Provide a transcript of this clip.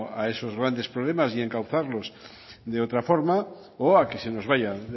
a esos grandes problemas y encauzarlos de otra forma o a que se nos vayan